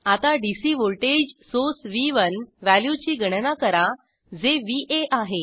आता DC voltage source व्ह1 व्हॅल्यूची गणना करा जे व्ह आहे